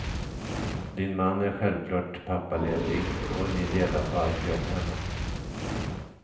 Din man är självklart pappaledig och ni delar på allt jobb hemma.